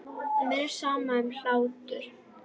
Mér er sama um hlátur.